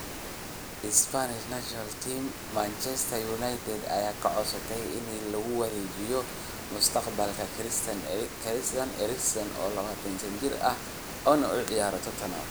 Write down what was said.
(ESPN) Manchester United ayaa codsatay in lagu wargeliyo mustaqbalka Christian Eriksen, oo 27 jir ah, una ciyaara Tottenham.